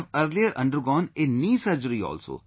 I have earlier undergone a knee surgery also